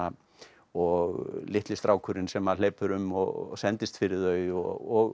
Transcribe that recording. og litli strákurinn sem hleypur um og sendist fyrir þau og